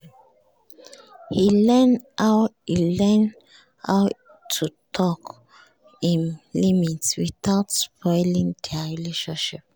he learn how he learn how to talk him limit without spoiling their relationship